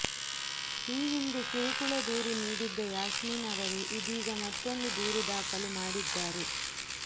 ಈ ಹಿಂದೆ ಕಿರುಕುಳ ದೂರು ನೀಡಿದ್ದ ಯಾಸ್ಮೀನ್ ಅವರೇ ಇದೀಗ ಮತ್ತೊಂದು ದೂರು ದಾಖಲು ಮಾಡಿದ್ದಾರೆ